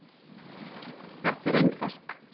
Þetta er einfalt.